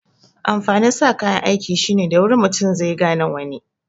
Amfanin sa kayan aiki shine da wuri mutu zai gane wani